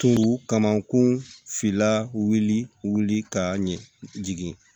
kamankun fila wuli ka ɲɛ jigin